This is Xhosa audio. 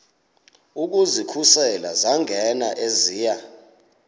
ukuzikhusela zangena eziya